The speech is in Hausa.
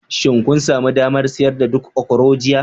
Shin kun sami damar siyar da duk okro jiya?